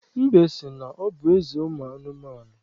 Mbe si na ọ bụ eze ụmụ anụmanụ.